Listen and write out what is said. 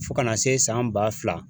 Fo kana se san ba fila